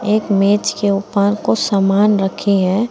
एक मेज के ऊपर कुछ सामान रखी है।